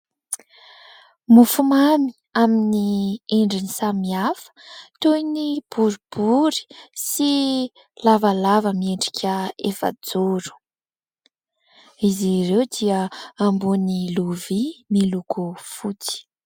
Mofomamy amin'ny endriny samihafa toy ny boribory sy lavalava miendrika efajoro, izy ireo dia ambony lovia miloko fotsy.